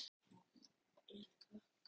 Þéttur á velli einsog stytta mikilmennis.